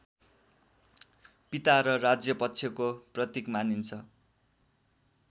पिता र राज्यपक्षको प्रतीक मानिन्छ